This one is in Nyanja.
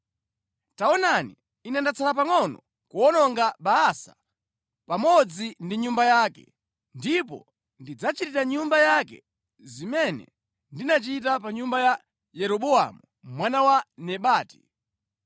Taonani, Ine ndatsala pangʼono kuwononga Baasa pamodzi ndi nyumba yake, ndipo ndidzachitira nyumba yake zimene ndinachita pa nyumba ya Yeroboamu mwana wa Nebati.